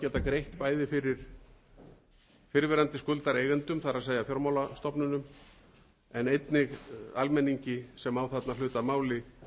greitt bæði fyrir fyrrverandi skuldareigendum það er fjármálastofnunum en einnig almenningi sem á þarna hlut að máli